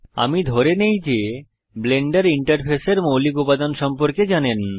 আমি ধরে নেই যে ব্লেন্ডার ইন্টারফেসের মৌলিক উপাদান সম্পর্কে জানেন